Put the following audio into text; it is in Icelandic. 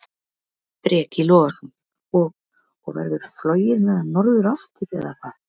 Breki Logason: Og, og verður flogið með hann norður aftur, eða hvað?